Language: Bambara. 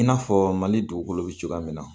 I n'a fɔ mali dugukolo be cogoya min na.